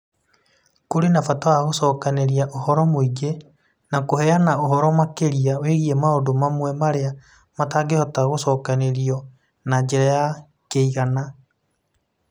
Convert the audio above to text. Kũrĩ na bata wa gũcokanĩrĩria ũhoro mũingĩ na kũheana ũhoro makĩria wĩgiĩ maũndũ mamwe marĩa matangĩhota gũcokanĩrĩrio na njĩra ya kĩigana.